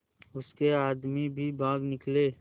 उसके आदमी भी भाग निकले